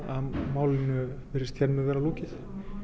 málinu virðist hér með vera lokið